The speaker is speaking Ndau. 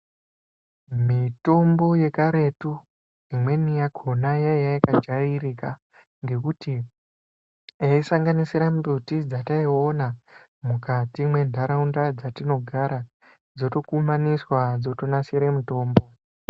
Mitombo yekaretu imweni yakona yaiya yakajairika ngekuti yaisanganisira mbuti yataiona mukati mendaraunda dzatinogara dzotokumanisa dzinasira mitombo.